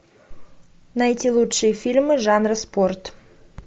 найти лучшие фильмы жанра спорт